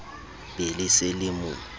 be le se le mo